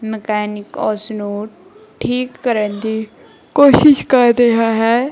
Mechanic ਉਸ ਨੂੰ ਠੀਕ ਕਰਨ ਦੀ ਕੋਸ਼ਿਸ਼ ਕਰ ਰਿਹਾ ਹੈ।